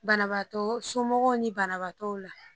Banabaatɔ somɔgɔw ni banabaatɔw la